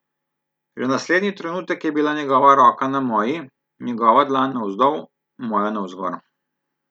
Že naslednji trenutek je bila njegova roka na moji, njegova dlan navzdol, moja navzgor.